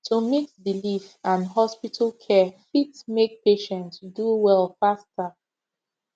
to mix belief and hospital care fit make patient do well faster